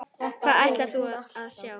Hvað ætlarðu að sjá?